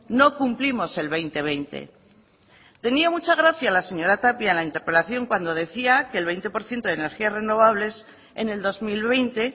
no cumplimos el dos mil veinte tenía mucha gracia la señora tapia en la interpelación cuando decía que el veinte por ciento de energías renovables en el dos mil veinte